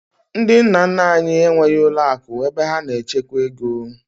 Ndị nna nna anyị enweghị ụlọakụ ebe ha na-echekwa ego